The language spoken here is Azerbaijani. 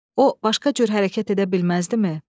O başqa cür hərəkət edə bilməzdimi?